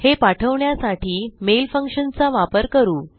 हे पाठवण्यासाठी मेल फंक्शनचा वापर करू